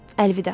Əlvida.